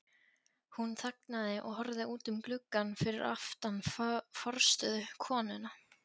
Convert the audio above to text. Hún þagnaði og horfði út um gluggann fyrir aftan forstöðukonuna.